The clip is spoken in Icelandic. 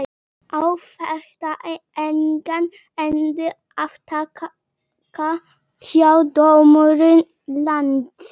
Á þetta engan endi að taka hjá dómurum landsins?